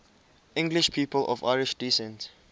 english people of irish descent